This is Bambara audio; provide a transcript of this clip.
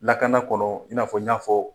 Lakana kɔnɔ, i n'a fɔ n y'a fɔ